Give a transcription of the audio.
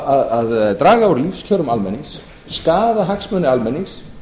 að draga úr lífskjörum almennings skaða hagsmuni almennings